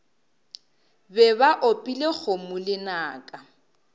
be ba opile kgomo lenaka